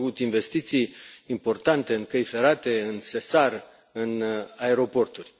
S au făcut investiții importante în căi ferate, în SESAR, în aeroporturi.